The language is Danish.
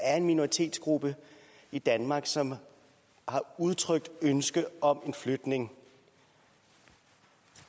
er en minoritetsgruppe i danmark som har udtrykt ønske om en flytning